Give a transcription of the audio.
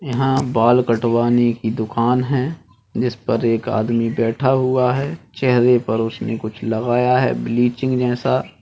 यहाँ बाल कटवाने की दुकान है जिस पर एक आदमी बैठ हुआ है चेहरे पर उसने कुछ लगाया है ब्लीचिंग जैसा।